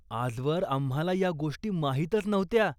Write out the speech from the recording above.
आजवर आम्हाला या गोष्टी माहीतच नव्हत्या.